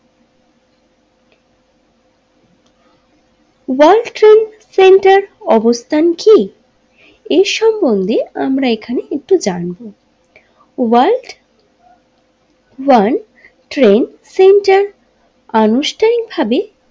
World Trade Center অবস্থান কি এ সম্বন্ধে আমরা এখানে একটু জানবো ওয়ার্ল্ড ওয়ান ট্রেড সেন্টার আনুষ্ঠানিক ভাবে।